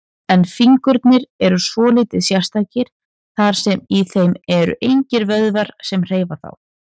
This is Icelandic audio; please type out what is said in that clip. En fingurnir eru svolítið sérstakir, þar sem í þeim eru engir vöðvar sem hreyfa þá.